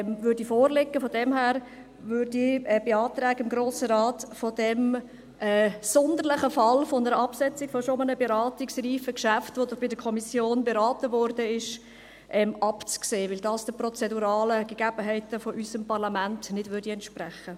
Daher beantrage ich dem Grossen Rat, von diesem sonderbaren Fall einer Absetzung eines bereits beratungsreifen, von der Kommission beratenen Geschäfts abzusehen, weil es den prozeduralen Gegebenheiten unseres Parlaments nicht entspricht.